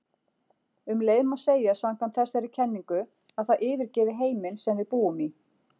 Um leið má segja samkvæmt þessari kenningu að það yfirgefi heiminn sem við búum í.